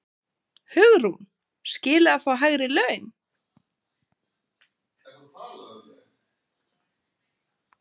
Hugrún: Skilið að fá hærri laun?